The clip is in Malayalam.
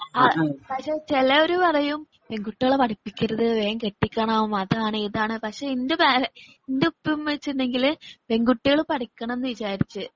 പക്ഷെ ചെലര് പറയും പെൺകുട്ടികളെ പഠിപ്പിക്കരുത് വേഗം കെട്ടിക്കണം അതാണ് ഇതാണ് പക്ഷെ എന്റെ പേര എന്റെ ഉപ്പയും ഉമ്മയും വെച്ചുണ്ടെങ്കില് പെൺകുട്ടികൾ പഠിക്കാണന്ന് വിചാരിച്ചു.